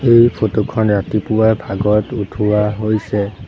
এই ফটো খন ৰাতিপুৱাৰ ভাগত উঠোৱা হৈছে।